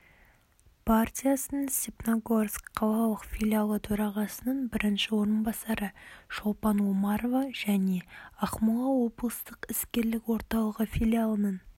партиясының степногорск қалалық филиалы төрағасының бірінші орынбасары шолпан омарова және ақмола облыстық іскерлік орталығы филиалының